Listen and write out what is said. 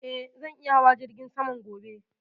Eh, zan iya hawa jirgin saman gobe